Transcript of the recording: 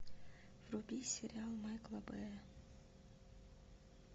вруби сериал майкла бэя